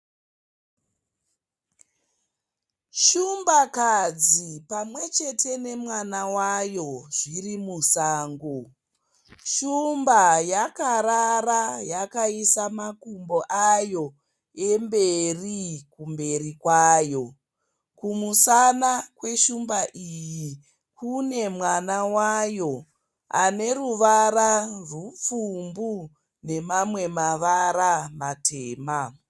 Shumbakadzi pamwechete nemwana wayo zviri musango. Shumba yakarara yakaisa makumbo ayo emberi kumberi kwayo. Kumusana kweshumba iyi kune mwana wayo aneruvara rupfumbu nemamwe mavara matema.